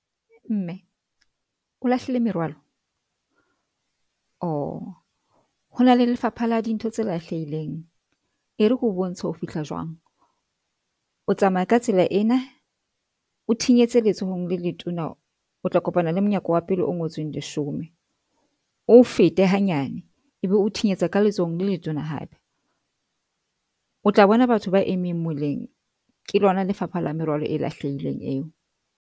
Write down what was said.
Mme o lahlile merwalo o hona le Lefapha la Dintho tse Lahlehileng. E re ke ho bontshe ho fihla jwang. O tsamaya ka tsela ena o thinyetse letsohong le letona, o tla kopana le monyako wa pele o ngotsweng leshome, o fete hanyane ebe o thinyetsa ka letsohong le letona hape o tla bona batho ba eme moleng ke lona Lefapha la Merwalo e Lahlehileng eo.